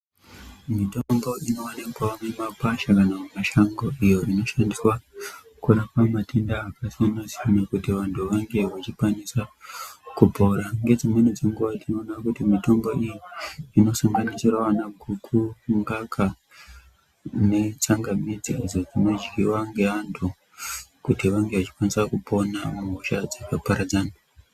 Mitombo inowanikwa mumakwasha kana mumashango iyo inoshandiswa kurapa matenda akasiyana-siyana kuti vantu vange vechikwanisa kupora nedzimweni dzenguwa tinoona kuti mitombo iyi inosanganisira ana guku, ngaka netsangamidzi dzinodyiwa ngeantu kuti vange vechikwanisa kupona mumusha dzakaparadzana.